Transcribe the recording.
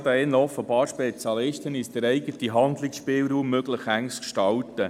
Wir sind offensichtlich Spezialisten darin, uns unseren Handlungsspielraum möglichst eng zu gestalten.